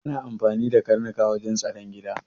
Ana amfani da karnuka wajen tsaron gida